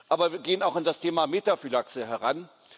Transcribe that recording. Aber wir gehen auch an das Thema Metaphylaxe heran.